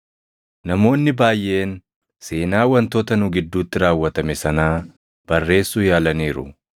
Namoonni baayʼeen seenaa wantoota nu gidduutti raawwatame sanaa barreessuu yaalaniiru;